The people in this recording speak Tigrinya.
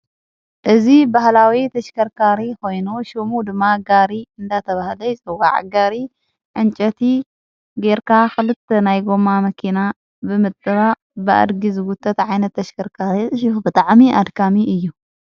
እዝ በህላዊ ተሽከርካሪ ኮይኑ ሹሙ ድማ ጋሪ እንዳተብሃለይ ስወዕ ጋሪ ዕንጨቲ ጌርካ ኽልተ ናይ ጎማ መኪና ብምጥራ ብእድጊ ዝጉተ ዓይነት ተሽከርካሪ እሽሑ ብጠዕሚ ኣድካሚ እዩ።